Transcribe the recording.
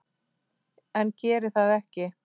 En geri það ekki.